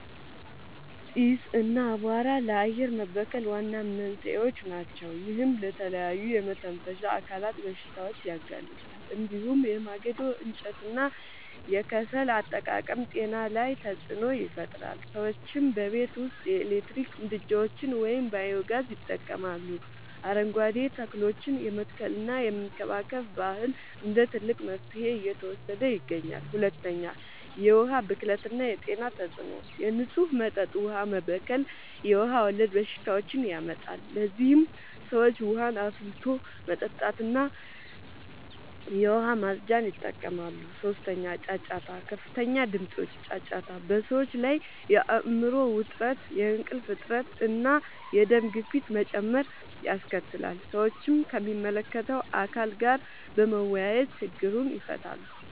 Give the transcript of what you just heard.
ጢስ እና አቧራ ለአየር መበከል ዋና መንስኤዎች ናቸው። ይህም ለተለያዩ የመተንፈሻ አካላት በሽታዎች ያጋልጣል። እንዲሁም የማገዶ እንጨትና የከሰል አጠቃቀም ጤና ላይ ተጽዕኖ ይፈጥራል። ሰዎችም በቤት ውስጥ የኤሌክትሪክ ምድጃዎችን ወይም ባዮ-ጋዝ ይጠቀማሉ፣ አረንጓዴ ተክሎችን የመትከልና የመንከባከብ ባህል እንደ ትልቅ መፍትሄ እየተወሰደ ይገኛል። 2. የዉሀ ብክለት የጤና ተጽዕኖ፦ የንጹህ መጠጥ ውሃ መበከል የውሃ ወለድ በሽታዎችን ያመጣል። ለዚህም ሰዎች ውሃን አፍልቶ መጠጣትና የዉሃ ማፅጃን ይጠቀማሉ። 3. ጫጫታ፦ ከፍተኛ ድምጾች (ጫጫታ) በሰዎች ላይ የአይምሮ ዉጥረት፣ የእንቅልፍ እጥረት፣ እና የደም ግፊት መጨመር ያስከትላል። ሰዎችም ከሚመለከተዉ አካል ጋር በመወያየት ችግሩን ይፈታሉ።